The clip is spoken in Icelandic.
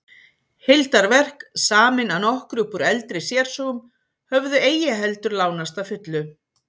Heildarverk, samin að nokkru upp úr eldri sérsögum, höfðu eigi heldur lánast að fullu.